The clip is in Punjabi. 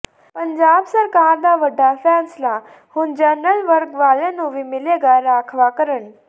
ਪੰਜਾਬ ਸਰਕਾਰ ਦਾ ਵੱਡਾ ਫੈਸਲਾ ਹੁਣ ਜਨਰਲ ਵਰਗ ਵਾਲਿਆਂ ਨੂੰ ਵੀ ਮਿਲੇਗਾ ਰਾਖਵਾਂਕਰਨ